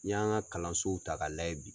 N'i y'an ka kalansow ta ka lajɛ bi.